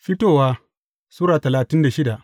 Fitowa Sura talatin da shida